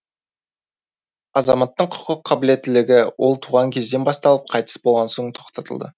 азаматтың құқық қабілеттілігі ол туған кезден басталып қайтыс болған соң тоқтатылады